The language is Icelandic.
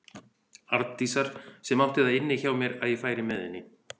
Arndísar sem átti það inni hjá mér að ég færi með henni.